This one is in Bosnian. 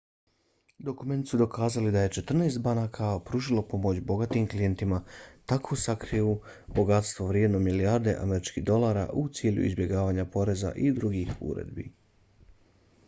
dokumenti su dokazali da je četrnaest banaka pružilo pomoć bogatim klijentima da sakriju bogatstvo vrijedno milijarde američkih dolara u cilju izbjegavanja poreza i drugih uredbi